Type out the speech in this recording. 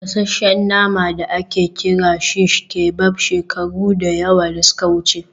gasasshen nama da ake kira shish kebab shekaru da yawa da suka wuce